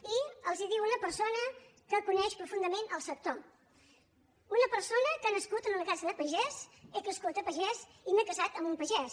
i els ho diu una persona que coneix profundament el sector una persona que ha nascut en una casa de pagès he crescut a pagès i m’he casat amb un pagès